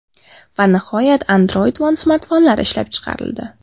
Va nihoyat Android One smartfonlari ishlab chiqarildi.